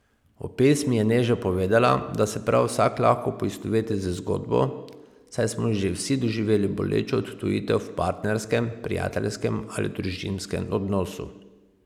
O pesmi je Neža povedala, da se prav vsak lahko poistoveti z zgodbo, saj smo že vsi doživeli bolečo odtujitev v partnerskem, prijateljskem ali družinskem odnosu.